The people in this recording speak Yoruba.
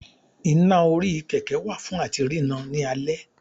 iná orí kẹkẹ wa fun atí rirán ni àlé